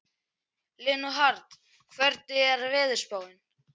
Leonhard, hvernig er veðurspáin?